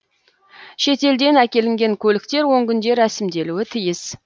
шетелден әкелінген көліктер он күнде рәсімделуі тиіс